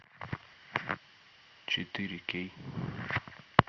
четыре кей